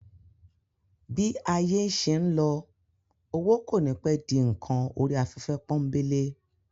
Bí ayé ń ṣé lọ, owó kò ní pẹ́ di ǹkan orí afẹ́fẹ́ pọ́ńbélé